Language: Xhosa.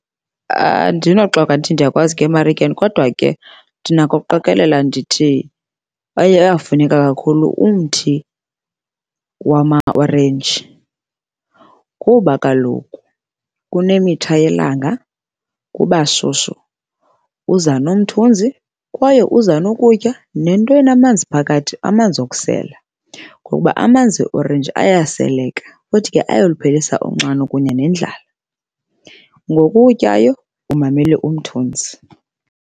Andinoxoka ndithi ndiyakwazi ukuya emarikeni kodwa ke ndinako ukuqikelela ndithi kwaye uyafuneka kakhulu umthi wamaorenji. Kuba kaloku kunemitha yelanga kuba shushu, uza nomthunzi kwaye uza nokutya nento enamanzi phakathi, amanzi okusela ngokuba amanzi eorenji ayaseleka futhi ke ayaluphelisa unxano kunye nendlela. Ngoku utyayo umamele umthunzi.